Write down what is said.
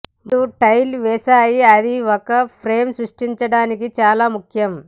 ముందు టైల్ వేసాయి అది ఒక ఫ్రేమ్ సృష్టించడానికి చాలా ముఖ్యం